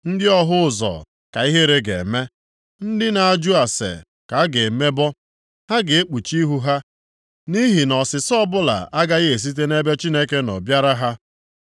Ndị ọhụ ụzọ ka ihere ga-eme, ndị na-ajụ ase ka a ga-emebọ. Ha ga-ekpuchi ihu ha, nʼihi na ọsịsa ọbụla agaghị esite nʼebe Chineke nọ bịara ha.”